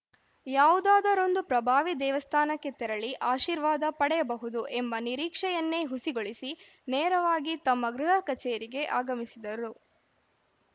ಯಾವುದಾದರೊಂದು ಪ್ರಭಾವಿ ದೇವಸ್ಥಾನಕ್ಕೆ ತೆರಳಿ ಆಶೀರ್ವಾದ ಪಡೆಯಬಹುದು ಎಂಬ ನಿರೀಕ್ಷೆಯನ್ನೇ ಹುಸಿಗೊಳಿಸಿ ನೇರವಾಗಿ ತಮ್ಮ ಗೃಹ ಕಚೇರಿಗೆ ಆಗಮಿಸಿದರು